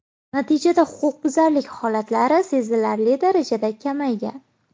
Natijada huquqbuzarlik holatlari sezilarli darajada kamaygan.